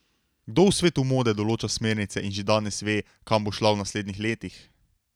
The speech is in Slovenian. Kdo v svetu mode določa smernice in že danes ve, kam bo šla v naslednjih letih?